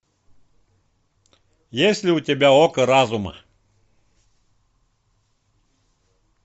есть ли у тебя око разума